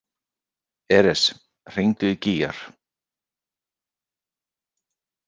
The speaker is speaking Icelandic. Eres, hringdu í Gígjar.